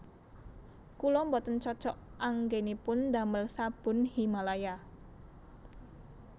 Kula mboten cocok anggonipun ndamel sabun Himalaya